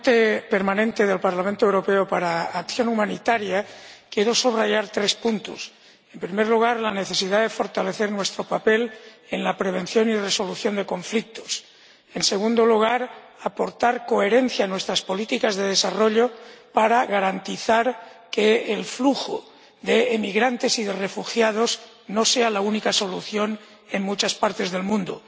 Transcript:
Señor Presidente, como ponente permanente del Parlamento Europeo para acción humanitaria, quiero subraya tres puntos en primer lugar, la necesidad de fortalecer nuestro papel en la prevención y resolución de conflictos en segundo lugar, la necesidad de aportar coherencia a nuestras políticas de desarrollo, para garantizar que el flujo de emigrantes y de refugiados no sea la única solución en muchas partes del mundo